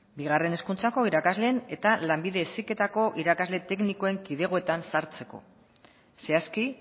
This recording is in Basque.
bigarren hezkuntzako irakasleen eta lanbide heziketako irakasle teknikoen kidegoetan sartzeko zehazki